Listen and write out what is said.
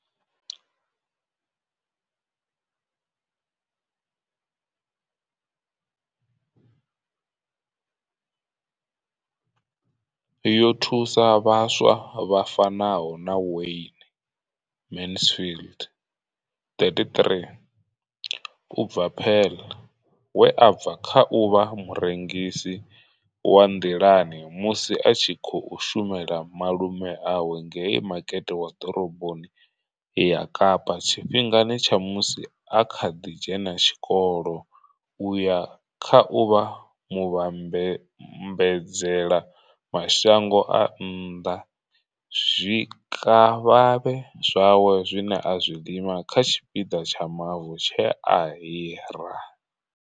Yo thusa vhaswa vha fanaho na Wayne Mansfield, 33, u bva Paarl, we a bva kha u vha murengisi wa nḓilani musi a tshi khou shumela malume awe ngei makete wa ḓoroboni ya Kapa tshifhingani tsha musi a kha ḓi dzhena tshikolo u ya kha u vha muvhambadzela mashango a nnḓa zwikavhavhe zwawe zwine a zwi lima kha tshipiḓa tsha mavu tshe a hira.